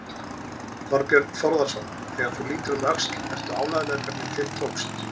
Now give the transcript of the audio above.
Þorbjörn Þórðarson: Þegar þú lítur um öxl, ert þú ánægður með hvernig til tókst?